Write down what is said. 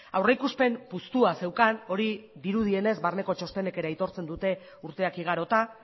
aurrikuspen puztua zeukan hori dirudienez barneko txostenek ere aitortzen dute urteak igarota